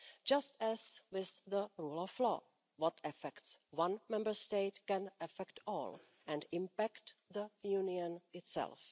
Just as with the rule of law, what affects one Member State can affect all and impact the Union itself.